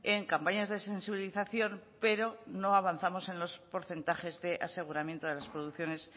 en campañas de sensibilización pero no avanzamos en los porcentajes de aseguramiento de las producciones